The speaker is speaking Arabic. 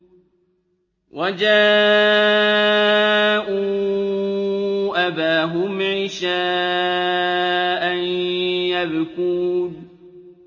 وَجَاءُوا أَبَاهُمْ عِشَاءً يَبْكُونَ